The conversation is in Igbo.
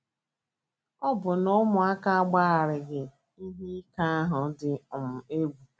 Ọbụna ụmụaka agbanarịghị ihe ike ahụ dị um egwu.